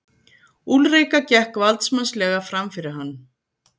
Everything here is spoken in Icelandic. Úlrika gekk valdsmannslega framfyrir hann.